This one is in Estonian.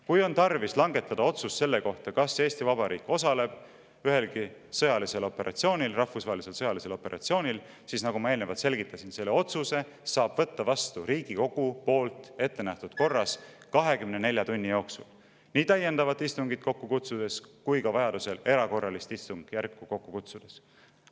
Kui on tarvis langetada otsus selle kohta, kas Eesti Vabariik osaleb ühelgi rahvusvahelisel sõjalisel operatsioonil, siis saab Riigikogu, nagu ma eelnevalt selgitasin, selle otsuse vastu võtta ettenähtud korras 24 tunni jooksul – nii täiendavat istungit kokku kutsudes kui ka vajaduse korral erakorralist istungjärku kokku kutsudes.